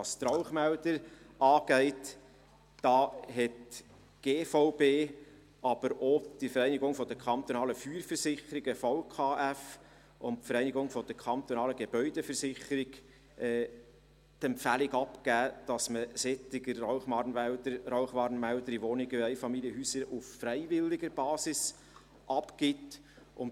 Was die Rauchmelder angeht, hat die GVB, aber auch die Vereinigung kantonaler Feuerversicherungen (VKF) und die Vereinigung kantonaler Gebäudeversicherungen (VKG) die Empfehlung abgegeben, solche Rauchwarnmelder in Wohnungen und Einfamilienhäusern auf freiwilliger Basis abzugeben.